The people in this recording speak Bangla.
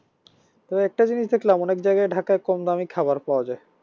তো একটা জিনিস দেখলাম অনেক জায়গায় ঢাকায় কমদামি খাবার পাওয়া যায়